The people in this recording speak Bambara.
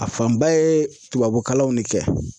A fanba ye tubabukalanw de kɛ.